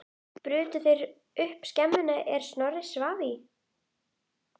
Og það fyrir eitt augnatillit frá Ara?